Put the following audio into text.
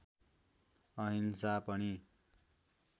अहिंसा पनि